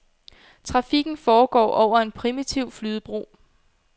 Trafikken foregår over en primitiv flydebro.